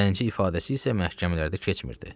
Zənci ifadəsi isə məhkəmələrdə keçmirdi.